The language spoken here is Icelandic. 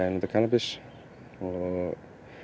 að nota kannabis og